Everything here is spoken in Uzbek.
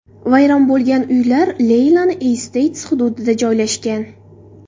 Vayron bo‘lgan uylar Leilani-Esteyts hududida joylashgan.